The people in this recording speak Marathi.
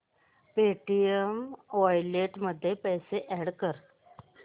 पेटीएम वॉलेट मध्ये पैसे अॅड कर